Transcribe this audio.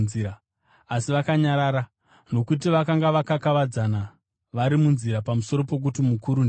Asi vakanyarara nokuti vakanga vakakavadzana vari munzira pamusoro pokuti mukuru ndiani.